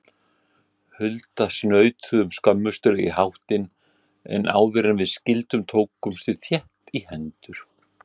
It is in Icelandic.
Hulda snautuðum skömmustuleg í háttinn, en áðuren við skildum tókumst við þétt í hendur.